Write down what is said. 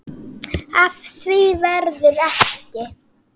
Af því verður ekki.